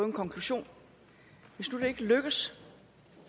en konklusion hvis nu det ikke lykkes